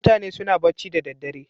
Mutane suna bacci da daddare.